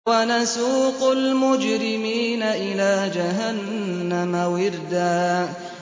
وَنَسُوقُ الْمُجْرِمِينَ إِلَىٰ جَهَنَّمَ وِرْدًا